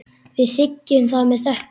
Við þiggjum það með þökkum.